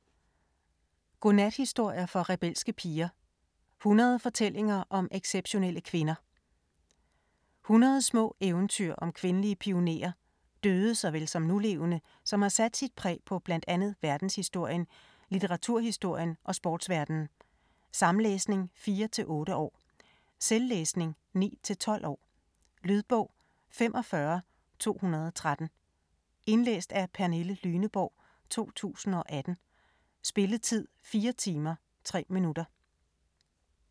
Godnathistorier for rebelske piger: 100 fortællinger om exceptionelle kvinder 100 små eventyr om kvindelige pionerer, døde såvel som nulevende, som har sat sit præg på blandt andet verdenshistorien, litteraturhistorien og sportsverdenen. Samlæsning 4-8 år. Selvlæsning 9-12 år. Lydbog 45213 Indlæst af Pernille Lyneborg, 2018. Spilletid: 4 timer, 3 minutter.